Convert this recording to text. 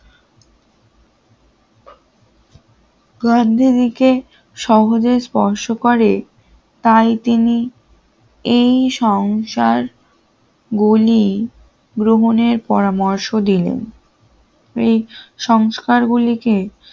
সহজে স্পর্শ করে তাই তিনি এই সংসার গুলি গ্রহণের পরামর্শ দিলেন এই সংস্কারগুলিকে